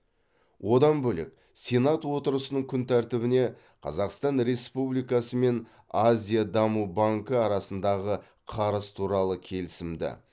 одан бөлек сенат отырысының күн тәртібіне қазақстан республикасы мен азия даму банкі арасындағы қарыз туралы келісімді